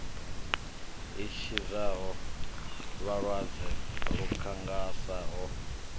i tshidzaho vhalwadze lukhangasa ho